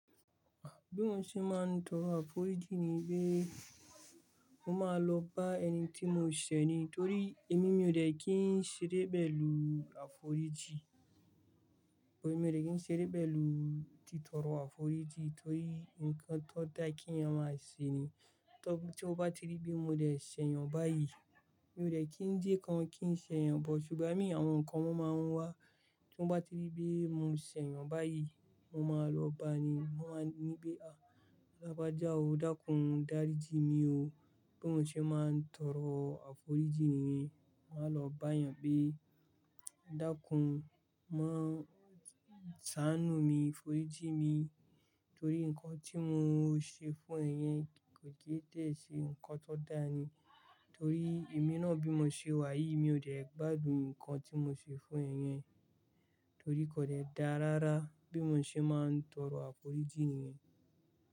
Bí mo ṣe máa ń tọrọ àforíjì ni pé mo máa lọ bá ẹni tí mo ṣẹ̀ ni. Torí èmi mi ò dẹ̀ kí n ṣeré pẹ̀lú àforíjì. Emi ò dẹ̀ kí n ṣeré pẹ̀lú títorọ àforíjì torí ǹkan tó dá kí yan máa ṣẹ̀ ni. Tí mo bá tírí bi mo dẹ̀ ṣẹ̀ yàn bá yí, mi ò dẹ̀ kí ń jẹ́ kán kí n ṣẹ̀ yàn but. Ṣùgbọ́n mi àwọn nkán wọn máa ń wá. Tí n bá tírí bi mo ṣẹ̀ yàn bá yí, mo máa lọ n bá ni. Hun o wá ní pé, "àh lágbájá o dákun dáríji mi o." Bí mo ṣe máa ń tọrọ àforíjì ni yen, máa lọ bá yàn pé dákun má saanù mí, foriji mi torí ǹkan tí mo ṣe fún ẹ̀ yẹn kò kí dẹ̀ ṣe ǹkan tó dáa ni. Torí èmi náà bí mo ṣe wá yìí mi ò dẹ̀ gbádùn ǹkan tí mo ṣe fún ẹ̀ yẹn, torí kò dẹ̀ dáa rárá bí mo ṣe máa ń tọrọ àforíjì niyen.